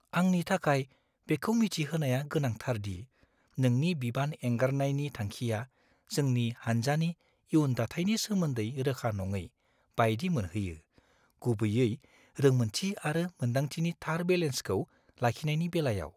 आंनि थाखाय बेखौ मिथिहोनाया गोनांथार दि नोंनि बिबान एंगारनायनि थांखिआ जोंनि हानजानि इयुन दाथायनि सोमोन्दै रोखा नङै बायदि मोनहोयो, गुबैयै रोंमोन्थि आरो मोन्दांथिनि थार बेलेन्सखौ लाखिनायनि बेलायाव।